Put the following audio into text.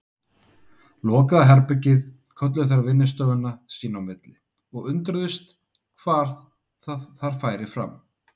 Lokaða herbergið kölluðu þær vinnustofuna sín í milli og undruðust, hvað þar færi fram.